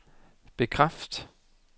bekræft